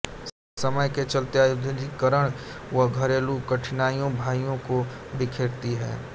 समय के चलते औद्योगिकीकरण व घरेलु कठिनाईयाँ भाइयों को बिखेरती है